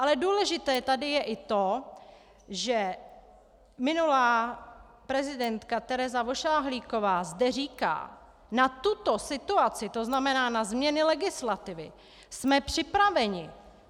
Ale důležité tady je i to, že minulá prezidentka Tereza Vošahlíková zde říká: Na tuto situaci, to znamená na změny legislativy, jsme připraveni.